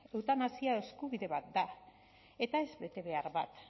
eutanasia eskubide bat da eta ez betebehar bat